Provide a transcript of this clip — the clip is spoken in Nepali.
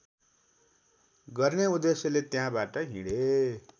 गर्ने उद्देश्यले त्यहाँबाट हिँडे